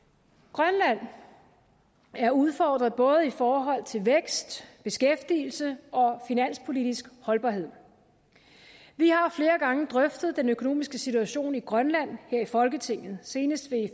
grønland er udfordret både i forhold til vækst beskæftigelse og finanspolitisk holdbarhed vi har flere gange drøftet den økonomiske situation i grønland her i folketinget senest